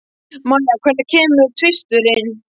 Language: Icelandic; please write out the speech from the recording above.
Mæja, hvenær kemur tvisturinn?